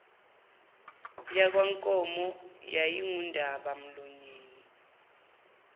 yakwankomo yayingundaba mlonyeni